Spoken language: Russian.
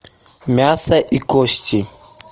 мясо и кости